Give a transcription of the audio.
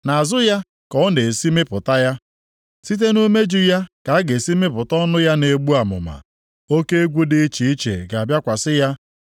Nʼazụ ya ka ọ na-esi mịpụta ya, site nʼumeju ya ka a ga-esi mịpụta ọnụ ya na-egbu amụma. Oke egwu dị iche iche ga-abịakwasị ya.